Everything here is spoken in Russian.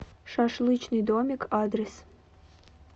шашлычный домик адрес